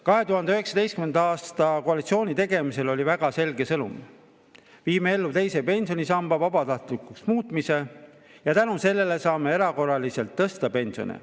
2019. aasta koalitsiooni tegemisel oli väga selge sõnum: muudame teise pensionisamba vabatahtlikuks ja tänu sellele saame erakorraliselt tõsta pensione.